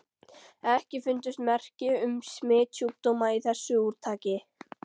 EKKI FUNDUST MERKI UM SMITSJÚKDÓMA Í ÞESSU ÚRTAKI.